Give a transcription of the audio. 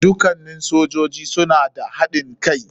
Dukannin sojoji suna da haɗin kai.